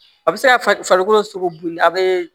A bɛ se ka farikolo sogo boli a bɛ